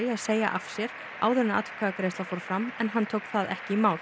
að segja af sér áður en atkvæðagreiðsla fór fram en hann tók það ekki í mál